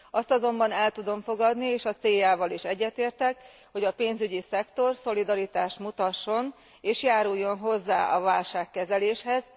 Azt azonban el tudom fogadni és a céljával is egyetértek, hogy a pénzügyi szektor szolidaritást mutasson és járuljon hozzá a válságkezeléshez.